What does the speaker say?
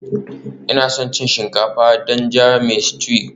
Ina son cin shinkafa da jan mai stew